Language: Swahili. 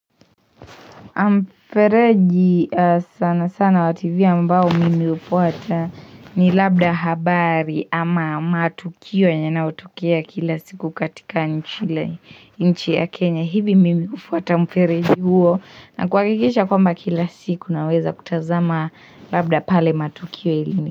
Mfereji sana sana wa TV ambao mimi ufuata ni labda habari ama matukio yenye yanaotokea kila siku katika nchi ya Kenya hivi mimi ufuata mfereji huo na kuhakikisha kwamba kila siku naweza kutazama labda pale matukio ilini.